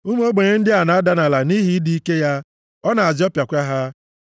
Ụmụ ogbenye ndị a na-ada nʼala nʼihi ịdị ike ya, ọ na-azọpịakwa ha.